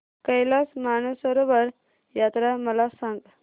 कैलास मानसरोवर यात्रा मला सांग